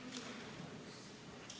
Istungi lõpp kell 17.05.